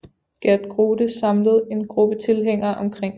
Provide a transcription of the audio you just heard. Geert Grote samlet en gruppe tilhængere omkring sig